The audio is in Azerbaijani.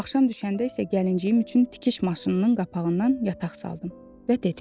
Axşam düşəndə isə gəlinciyim üçün tikiş maşınının qapağından yataq saldım və dedim: